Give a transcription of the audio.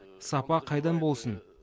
сапа қайдан болсын